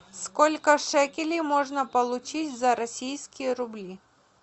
сколько шекелей можно получить за российские рубли